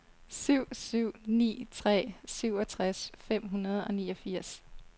syv syv ni tre syvogtres fem hundrede og niogfirs